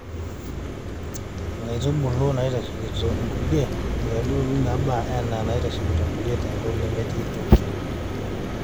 inkaitubulu naitasheikito inkulie:inkaitubulu naaba anaa inaitasheikito inkulie te nkop nemetii toki.